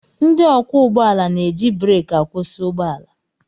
Ndị ọkwọ ụgbọala na-eji breki akwụsị ụgbọ ala